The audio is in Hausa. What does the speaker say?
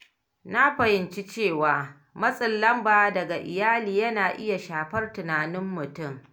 Na fahimci cewa matsin lamba daga iyali yana iya shafar tunanin mutum.